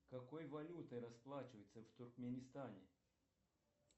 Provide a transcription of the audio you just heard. какой валютой расплачиваются в туркменистане